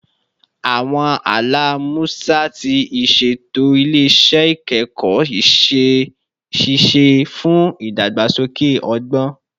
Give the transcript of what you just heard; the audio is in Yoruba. Awọn ala Musa ti iṣeto ile-iṣẹ ikẹkọ iṣẹ-ṣiṣe fun idagbasoke ọgbọn